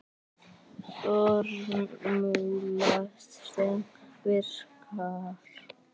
Formúla sem virkar.